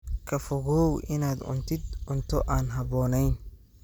Ka fogow inaad cuntid cunto aan habboonayn.